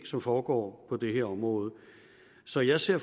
som foregår på det her område så jeg ser